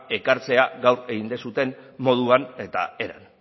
ekartzea gaur egin duzuen moduan eta eran